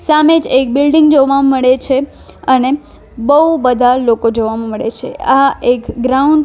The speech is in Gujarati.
સામે જ એક બિલ્ડીંગ જોવા મળે છે અને બઉ બધા લોકો જોવા મળે છે આ એક ગ્રાઉન્ડ છ--